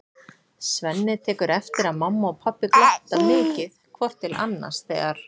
Svenni tekur eftir að mamma og pabbi glotta mikið hvort til annars þegar